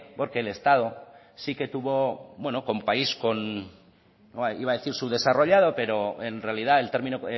porque el estado sí que tuvo con país iba a decir subdesarrollado pero en realidad el término